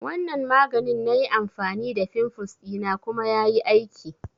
Wanan maganin na yi amfani da fimfles dina kuma ya yi aiki